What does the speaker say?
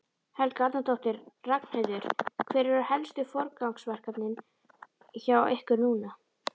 Helga Arnardóttir: Ragnheiður, hver eru helstu forgangsverkefnin hjá ykkur núna?